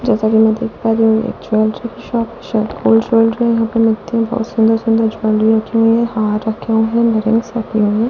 जैसा कि मैं देख पा रही हूं एक ज्वेलरी की शॉप है शायद गोल्ड ज्वेलरी यहां पे मिलती है बहोत सुंदर-सुंदर ज्वेलरी रखे हुए हैं हार रखे हुए हैं इयररिंग्स रखी हुई है।